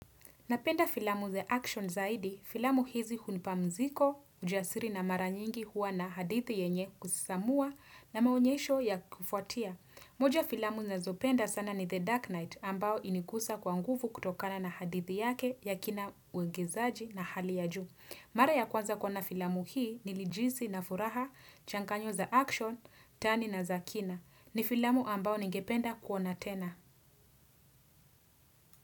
Napenda filamu za action zaidi, filamu hizi hunipamziko, ujasiri na mara nyingi huwa na hadithi yenye kusisamua na maonyesho ya kufuatia. Moja filamu nazopenda sana ni The Dark Night ambao inikusa kwa nguvu kutokana na hadithi yake ya kina uigizaji na hali ya juu. Mara ya kwanza kuona filamu hii nilijihisi na furaha, Changanyo za action, Tani na za kina. Ni filamu ambao ningependa kuona tena.